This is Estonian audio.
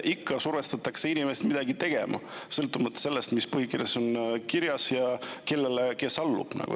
Ikka survestatakse inimest midagi tegema, sõltumata sellest, mis on põhikirjas ja kes kellele allub.